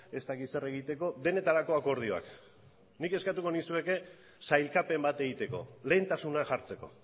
ez dakit zer egiteko denetarako akordioak nik eskatuko nizueke sailkapen bat egiteko lehentasuna jartzeko